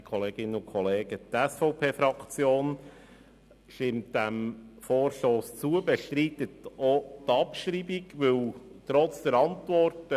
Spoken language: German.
Die SVP-Fraktion stimmt diesem Vorstoss zu und bestreitet auch die Abschreibung, dies trotz der Antwort.